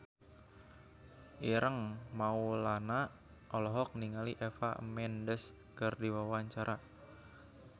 Ireng Maulana olohok ningali Eva Mendes keur diwawancara